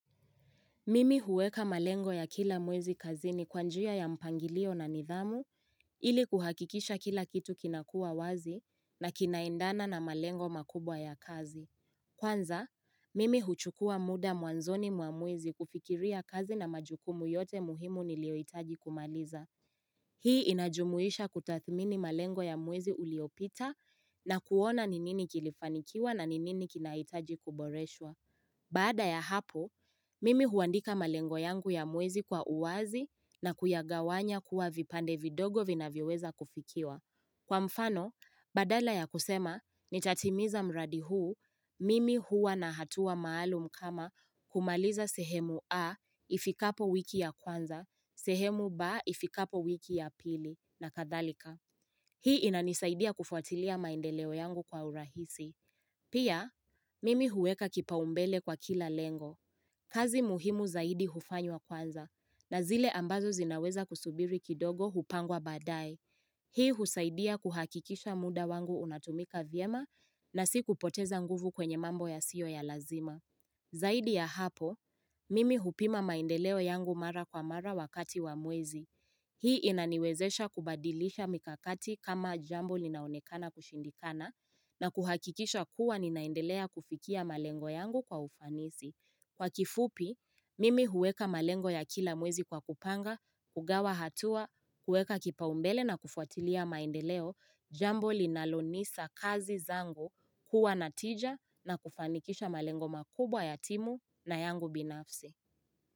Mimi huweka malengo ya kila mwezi kazi ni kwanjia ya mpangilio na nidhamu ili kuhakikisha kila kitu kinakua wazi na kinaendana na malengo makubwa ya kazi. Kwanza, mimi huchukua muda mwanzoni mwa mwezi kufikiria kazi na majukumu yote muhimu niliyohitaji kumaliza. Hii inajumuisha kutathmini malengo ya mwezi uliopita na kuona ni nini kilifanikiwa na ni nini kinaitaji kuboreshwa. Bada ya hapo, mimi huandika malengo yangu ya mwezi kwa uwazi na kuyagawanya kuwa vipande vidogo vinavyoweza kufikiwa. Kwa mfano, badala ya kusema nitatimiza mradi huu, mimi hua na hatua maalum kama kumaliza sehemu A ifikapo wiki ya kwanza, sehemu B ifikapo wiki ya pili, na kadhalika. Hii inanisaidia kufuatilia maendeleo yangu kwa urahisi. Pia, mimi huweka kipau mbele kwa kila lengo. Kazi muhimu zaidi hufanywa kwanza na zile ambazo zinaweza kusubiri kidogo hupangwa badaaye. Hii husaidia kuhakikisha muda wangu unatumika vyema na si kupoteza nguvu kwenye mambo yasiyo ya lazima. Zaidi ya hapo, mimi hupima maendeleo yangu mara kwa mara wakati wa mwezi. Hii inaniwezesha kubadilisha mikakati kama jambo linaonekana kushindikana na kuhakikisha kuwa ninaendelea kufikia malengo yangu kwa ufanisi. Kwa kifupi, mimi huweka malengo ya kila mwezi kwa kupanga, kugawa hatua, huweka kipaumbele na kufuatilia maendeleo, jambo linalonisa kazi zango kuwa natija na kufanikisha malengo makubwa ya timu na yangu binafse.